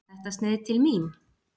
Var þetta sneið til mín?